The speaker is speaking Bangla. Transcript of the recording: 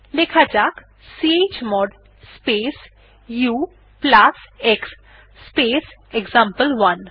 লেখা যাক chmod space ux space example one